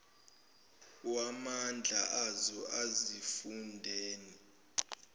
wamandla azo ezifundeni